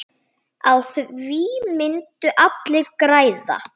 Á því myndu allir græða.